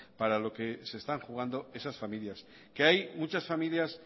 para lo que se están jugando esas familias que hay muchas familias